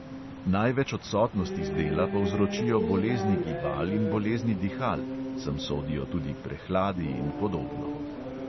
Največ odsotnosti z dela povzročijo bolezni gibal in bolezni dihal (sem sodijo tudi prehladi in podobno).